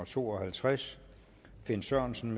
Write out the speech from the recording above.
to og halvtreds finn sørensen